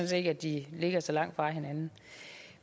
set ikke at de ligger så langt fra hinanden